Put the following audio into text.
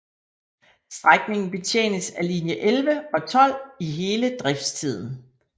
Strækningen betjenes af linje 11 og 12 i hele driftstiden